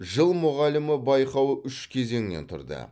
жыл мұғалімі байқауы үш кезеңнен тұрды